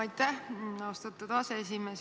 Aitäh, austatud aseesimees!